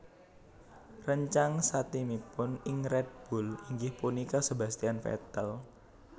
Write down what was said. Réncang satimipun ing Red Bull inggih punika Sebastian Vettel